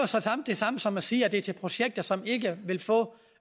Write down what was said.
det samme som at sige at det er til projekter som ikke ville få